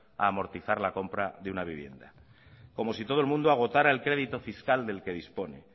a amortizar la compra de una vivienda como si todo el mundo agotara el crédito fiscal del que dispone